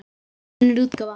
Önnur útgáfa.